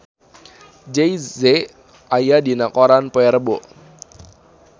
Jay Z aya dina koran poe Rebo